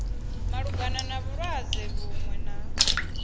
malugana na vhulwadze vhuṅwe na